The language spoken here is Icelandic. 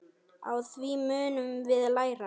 Á því munum við læra.